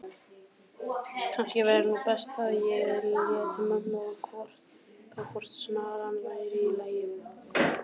að kannski væri nú best að ég léti mömmu gá hvort snaran væri í lagi.